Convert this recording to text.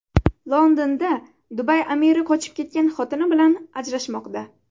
Londonda Dubay amiri qochib ketgan xotini bilan ajrashmoqda.